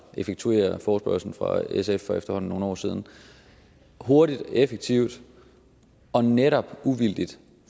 effektuere forespørgslen fra sf fra for efterhånden nogle år siden hurtigt effektivt og netop uvildigt